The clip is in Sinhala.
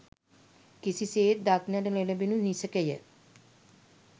කිසිසේත් දක්නට නොලැබෙනු නිසැකය